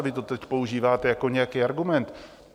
A vy to teď používáte jako nějaký argument.